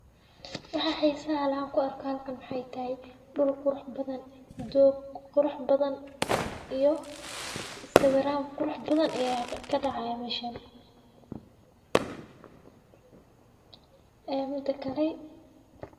Waxay saalaan ku arkaan kan xitaa dhul qurx badan, doog qurux badan iyo sawiraan qurux badan iyaga ka dhacay meshan. Ee mida kale.